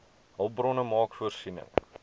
hulpbronne maak voorsiening